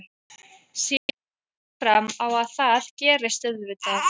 Sé alls ekki fram á að það gerist auðvitað.